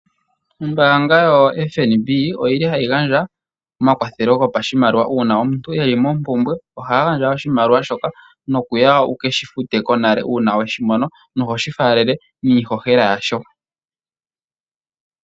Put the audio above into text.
Ombaanga yo Fnb oyili hayi gandja omakwathelo gopashimaliwa uuna omuntu eli mo mpumbwe ohaya gandja oshimaliwa shoka nokuya wukeshi fute konale uuna weshi mono noho shi faalele niihohela yasho.